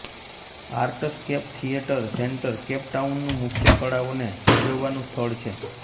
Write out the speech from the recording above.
Artscape Theatre Centre Cape ટાઉનનું મુખ્ય કળાઓને ભજવવાનું સ્થળ છે